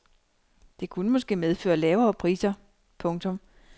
Det kunne måske medføre lavere priser. punktum